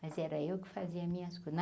Mas era eu que fazia minhas coisas.